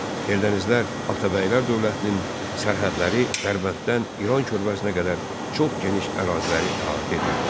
Eldənizlər Atabəylər dövlətinin sərhədləri Dərbənddən İran körpəzinə qədər çox geniş əraziləri əhatə edirdi.